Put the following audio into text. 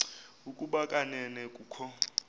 ukuba kanene kukho